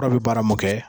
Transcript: Fura bɛ baara mun kɛ